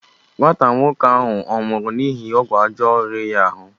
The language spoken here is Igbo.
Nwata nwoke ahụ ọ nwụrụ n'ihi ọgwụ ọjọọ riri ya ahụ?